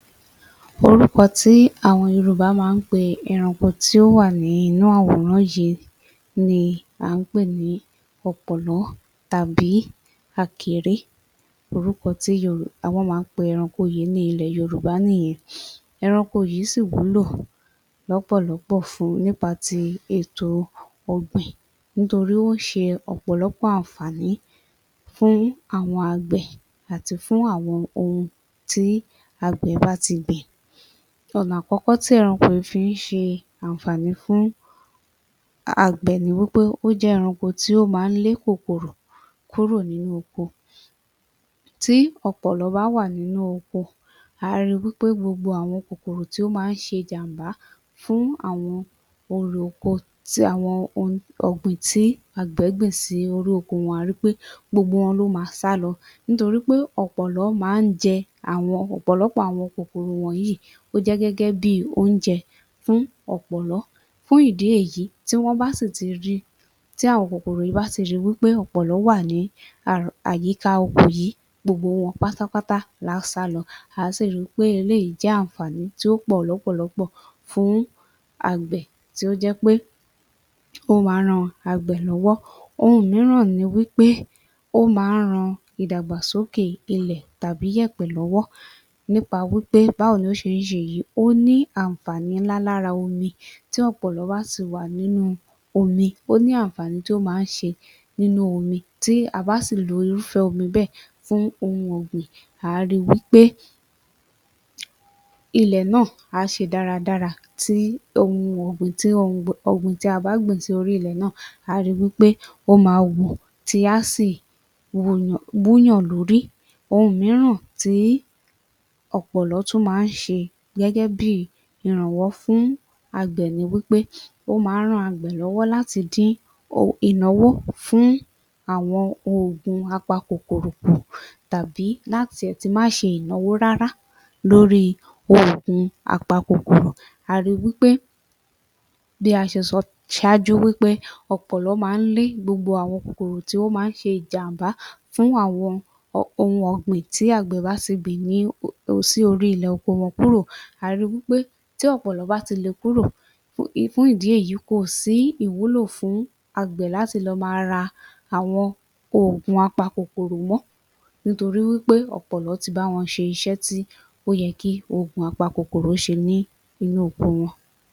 Orúkọ tí àwọn yorùbá má pe ìrunpọ̀ tó wà nínú àwòrán yìí ni à ń pe ní ọ̀pọ̀lọ́ tàbí akèré lorúkọ tí wọ́n ma ń pe ẹranko yìí ní ilẹ̀ yorùbá nìyẹn, ẹranko yìí sí ì wúlò lọ́pọ̀lọ́pọ̀ fún ní pati ètò ọ̀gbìn nítorí ó ṣe ọ̀pọ̀lọ́pọ̀ ànfàní fún àgbè àti fún àwọn ohun tí àgbẹ̀ bá ti gbìn. Ọ̀nà àkọ́kọ́ tí ẹranko yìí fi ṣe àànfàní fún àgbẹ̀ ni wí pé, ó jẹ́ ẹranko tó má lé kòkòrò kúrò nínú oko. Tí ọ̀pọ̀lọ́ bá wà nínú oko á ri wí pé gbogbo àwọn kòkòrò tó má ṣe jàm̀bá fún àwọn òǹrè oko tí àwọn ọ̀gbìn tí àwọn àgbẹ̀ gbíìn sí orí oko wọ́n á ri wí pé gbogbo wọn ma sálọ nítorí ọ̀pọ̀lọ́ má jẹ àwọn ọ̀pọ̀lọ́pọ̀ àwọn kòkòrò yìí, ó jẹ́ gẹ́gẹ́ bi oúnjẹ fún ọ̀pọ̀lọ́, fún ìdì èyí tí ó bá tí rí, tí àwọn kòkòrò bá rí wí pé ọ̀pọ̀lọ́ wà ní àyíká oko, gbogbo wọn pátápátá á sálọ, á sì ri pé eléyìí jẹ́ àànfàní tí ó pọ̀ lọ́pọ̀lọ́pọ̀ fún tí ó jẹ́ pé ó ma ran àgbẹ̀ lọ́wọ́. Ohun míràn ni wí pé ó ma ran ìdàgbàsókè ilẹ̀ tàbí yẹ̀pẹ̀ lọ́wọ́, nípa wí pé báwo ló ṣé ṣe èyí, ó ní àànfàní ńlá lára omi, tí ọ̀pọ̀lọ́ bá ti wà nínú omi ó ní àànfání tí ọ̀pọ̀lọ́ má ń ṣe nínú omi tí a bá sí ì lo irúfẹ́ omi bẹ́ẹ̀ fún ohun ọ̀gbìn á ri wí pé ilẹ̀ náà á ṣe dáradára tí ohun ọ̀gbìn tí a bá gbìn sórí ilẹ̀ náà á ri wí pé ó ma wù tí á sì wú yàn lórí.Ohun míràn tí ọ̀pọ̀lọ́ tún má ń ṣe gẹ́gẹ́ bi ìrànwọ́ fún àgbẹ̀ ni wí pé ó má ran àgbẹ̀ lọ́wọ́ láti dí ìnáwó fún àwọn ògùn a pa kòkòrò tàbí́ lá ti ẹ̀ ti má ṣe ìnáwó rárá lórí oògùn a pa kòkòrò. A ri wí pé bí a ṣe sọ sáájú wí pé ọ̀pọ̀lọ́ ma ń lé gbogbo àwọn kòkòrò tó má ń ṣe jàm̀bá fún àwọn ohun ọ̀gbìn tí àgbè bá gbìn sórí ilẹ̀ oko wọn kúrò a ri wí pé tí ọ̀pọ̀lọ́ bá ti kúrò fún ìdí èyí kòsí ìwúlò fún àgbẹ̀ láti lọ ma ra àwọn oògùn a pa kòkòrò mọ́, nítorí wí pé ọ̀pọ̀lọ́ ti bá wọn ṣe iṣẹ́ tí ó yẹ kí oògùn apakòkòrò ṣe nínú oko wọn.